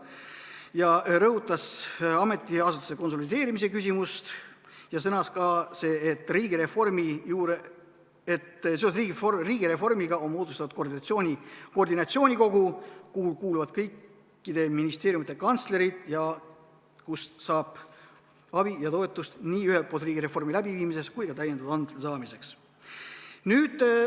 Ta rõhutas ametiasutuste konsolideerimise küsimust ja sõnas ka, et seoses riigireformiga on moodustatud koordinatsioonikogu, kuhu kuuluvad kõikide ministeeriumide kantslerid ja kust saab abi ja toetust ühelt poolt riigireformi läbiviimiseks ja ka täiendavate andmete saamiseks.